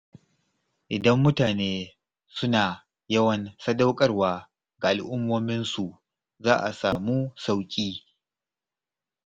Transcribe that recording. Idan mutane suna yawan sadaukarwa ga al'ummominsu, za a sami sauƙi.